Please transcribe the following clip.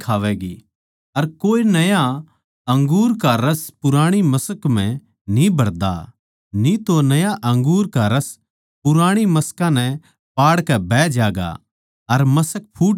अर कोए नया अंगूर का रस पुराणी मश्क म्ह न्ही भरदा न्ही तो नया अंगूर का रस पुराणी मशकां नै पाड़कै बह ज्यागा अर मश्क फूट ज्या सै